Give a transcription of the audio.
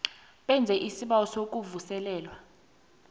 wenze isibawo sokuvuselelwa